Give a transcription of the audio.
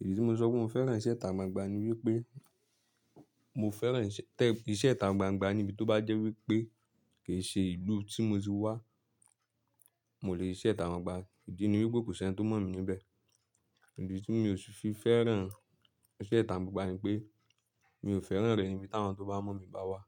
Ìdí tí mo sọ pé mo fẹ́ràn iṣẹ́ ìta gbangba ni wípé mo fẹ́ràn ìṣe ìta gbangba níbi tó bá jẹ́ wípé kì í ṣe ìlú tí mo ti wá, mo lè ṣiṣẹ ìta gbangba. Ìdí ni wípé kò sí ẹni tó mọ̀ mi níbẹ̀. Ìdí tí mi ò sì fi fẹ́ràn iṣẹ́ ìta gbangba ni pé mi ò fẹ́ràn rẹ̀ níbi táwọn tó bá mọ̀ mí bá wá.